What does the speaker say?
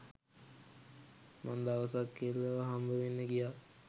මං දවසක් කෙල්ලව හම්බවෙන්න ගියා.